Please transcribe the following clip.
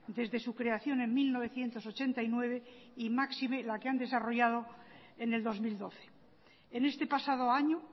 desde su creación en mil novecientos ochenta y nueve y máxime la que han desarrollado en el dos mil doce en este pasado año